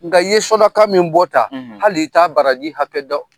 Nga i ye sɔraka min bɔ tan hali i ta baraji hakɛ dɔn.